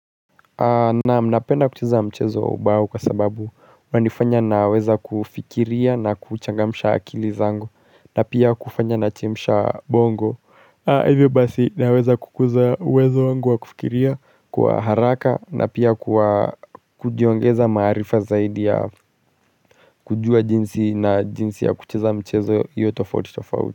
Nam napenda kucheza mchezo wa ubawo kwa sababu wanifanya naweza kufikiria na kuchangamisha akili zango na pia kufanya na chemsha bongo Hivyo basi naweza kukuza uwezo wangu wa kufikiria kwa haraka na pia kujiongeza marifa zaidi ya kujua jinsi na jinsi ya kucheza mchezo yo tofauti tofauti.